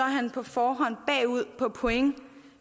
han på forhånd bagud på point